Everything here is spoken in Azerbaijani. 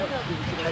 Sənə deyirəm.